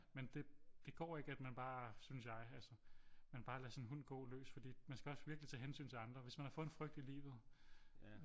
Men det går ik at man bare synes jeg altså man bare lader sin hund gå løs fordi man skal også virkelig tage hensyn til andre hvis man har fået en frygt i livet